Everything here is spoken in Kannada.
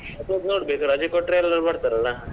ಅದೇ ನೋಡ್ಬೇಕು ರಜೆ ಕೊಟ್ರೆ ಎಲ್ಲರೂ ಬರ್ತಾರಲ್ವ.